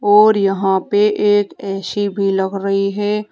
और यहां पे एक ए_सी भी लग रही है।